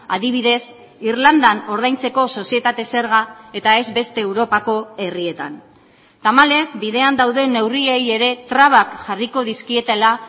adibidez irlandan ordaintzeko sozietate zerga eta ez beste europako herrietan tamalez bidean dauden neurriei ere trabak jarriko dizkietela